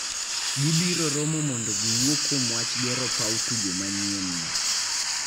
Gibiro romo mondo giwuo kuom wach gero paw tugo manyienno.